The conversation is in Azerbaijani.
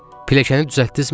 Piləkəni düzəltdizmi?